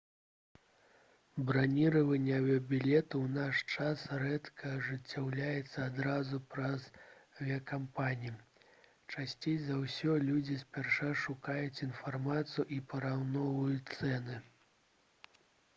браніраванне авіябілетаў у наш час рэдка ажыццяўляецца адразу праз авіякампаніі часцей за ўсё людзі спярша шукаюць інфармацыю і параўноўваюць цэны